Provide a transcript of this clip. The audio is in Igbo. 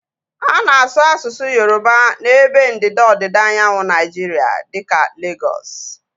A na-asu asụsụ Yoroba n'ebe ndịda ọdịda anyanwụ Naijiria dịka Legọs